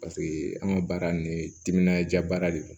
Paseke an ka baara nin timinanja baara de don